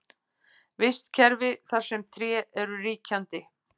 Vistkerfi þar sem tré eru ríkjandi.